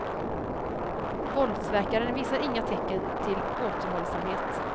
Våldsverkaren visar inga tecken till återhållsamhet.